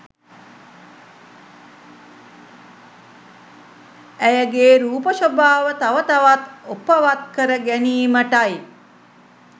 ඇයගේ රූප ශෝභාව තව තවත් ඔපවත් කර ගැනීමටයි.